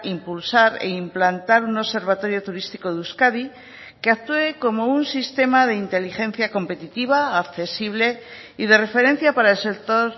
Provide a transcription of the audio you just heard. impulsar e implantar un observatorio turístico de euskadi que actúe como un sistema de inteligencia competitiva accesible y de referencia para el sector